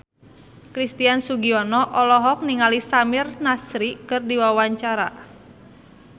Christian Sugiono olohok ningali Samir Nasri keur diwawancara